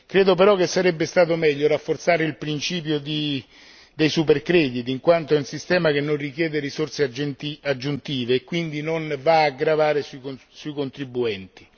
Credo però che sarebbe stato meglio rafforzare il principio dei supercrediti, in quanto è un sistema che non richiede risorse aggiuntive e quindi non va a gravare sui contribuenti.